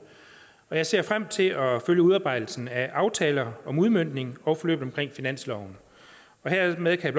og jeg ser frem til at følge udarbejdelsen af aftaler om udmøntning og forløb omkring finansloven hermed kan